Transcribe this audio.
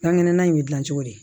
Dan ŋɛnɛ bɛ dilan cogo di